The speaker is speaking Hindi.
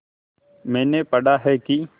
मैंने पढ़ा है कि